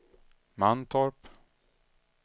Mantorp